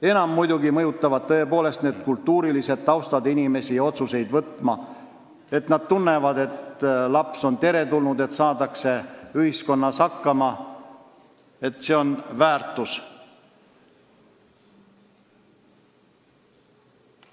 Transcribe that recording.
Enam mõjutab inimesi otsuste vastuvõtmisel muidugi kultuuriline taust: kui nad tunnevad, et laps on teretulnud ja ühiskonnas saadakse hakkama, et see on väärtus.